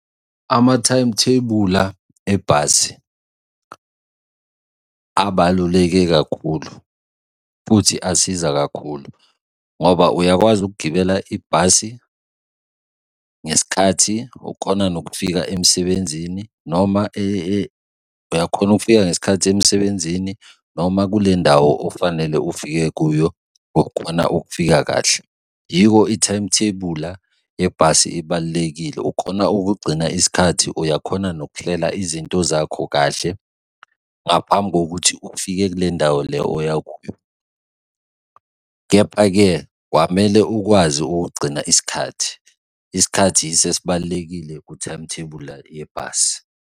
Amathayimuthebula ebhasi abaluleke kakhulu futhi asiza kakhulu, ngoba uyakwazi ukugibela ibhasi, ngesikhathi ukhona nokufika emsebenzini noma, uyakhona ukufika ngesikhathi emsebenzini noma kule ndawo ofanele ufike kuyo ukhona ukufika kahle. Yiko ithayimuthebula yebhasi ebalulekile ukhona ukugcina isikhathi, uyakhona nokuhlela izinto zakho kahle ngaphambi kokuthi ufike kule ndawo le oya kuyo. Kepha-ke kwamele ukwazi ukugcina isikhathi. Isikhathi yiso esibalulekile kwithayimuthebula yebhasi.